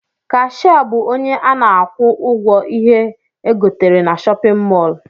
Kashia bụ ọnye ana akwụ ụgwọ ihé egotere n'shóppin mol.